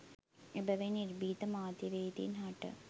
එබැවින් නිර්භීත මාධ්‍යවේදීන් හට